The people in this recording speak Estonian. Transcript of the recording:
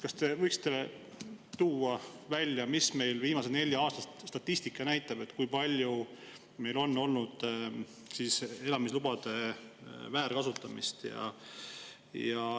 Kas te võiksite tuua välja, mis meil viimase nelja aasta statistika näitab, kui palju meil on olnud elamislubade väärkasutamist?